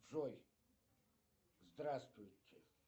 джой здравствуйте